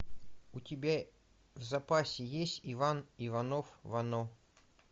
у тебя в запасе есть иван иванов вано